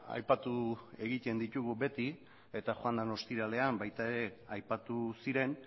aipatu egiten ditugu beti eta joan den ostiralean baita ere aipatu ziren